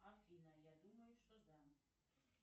афина я думаю что да